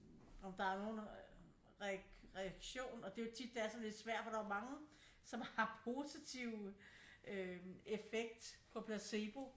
Om der nogen øh reaktion og det jo tit det er sådan lidt svært for der jo mange som har positive øh effekt på placebo